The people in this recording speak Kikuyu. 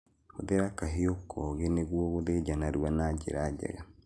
Hũthĩra kahiũ koge nĩguo gũthĩnja narua na njĩra njega